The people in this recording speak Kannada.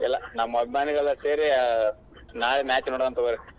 ಇಲ್ಲಾ ನಮ್ ಅಭಿಮಾನಿಗಳೆಲ್ಲಾ ಸೇರಿ ನಾಳೆ match ನೋಡುನ್ ತುಗೋರಿ.